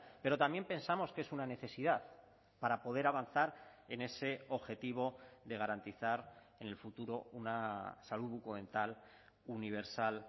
pero también pensamos que es una necesidad para poder avanzar en ese objetivo de garantizar en el futuro una salud bucodental universal